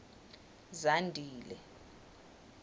zandile